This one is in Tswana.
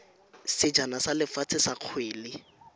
sejana sa lefatshe sa kgwele